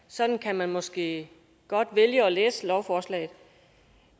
sådan kan man måske godt vælge at læse lovforslaget